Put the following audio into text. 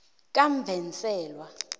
kamvenselwa